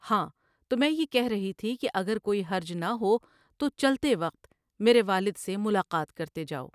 ہاں تو میں یہ کہ رہی تھی کہ اگر کوئی حرج نہ ہو تو چلتے وقت میرے والد سے ملاقات کرتے جاؤ ۔